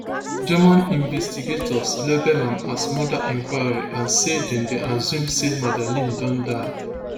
german investigators label am as murder inquiry and say dem dey assume say madeleine don die